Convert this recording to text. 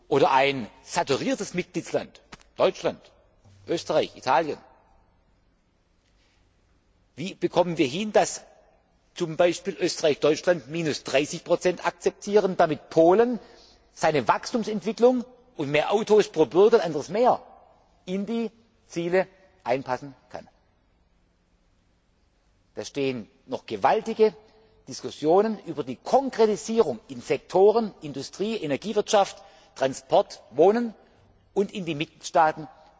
frage ich. Oder ein saturiertes Mitgliedsland, Deutschland, Österreich, Italien Wie bekommen wir es hin, dass zum Beispiel Österreich oder Deutschland minus 30 akzeptieren, damit Polen seine Wachstumsentwicklung und mehr Autos pro Bürger und anderes mehr in die Ziele einpassen kann? Da stehen uns noch gewaltige Diskussionen über die Konkretisierung in den Sektoren Industrie, Energiewirtschaft, Transport, Wohnen und in den Mitgliedstaaten